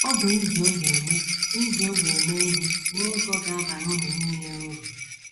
Ọ bụ iji oge eme iji oge eme ihe n’ụzọ ga - abara unu nile uru.